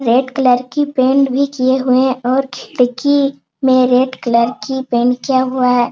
Red colour की paint भी किए हुए हैं और खिड़की में रेड कलर की पेंट किया हुआ है।